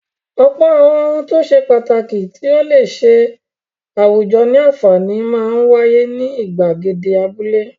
Ọ̀pọ̀ àwọn ohun tó ṣe pàtàkì tí ó le ṣe àwùjọ ní àǹfààní máa ń wáyé ní ìgbàgede abúlé.